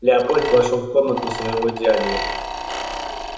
лепольд вошёл в комнату своего дяди